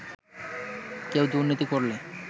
কেউ দুর্নীতি করলে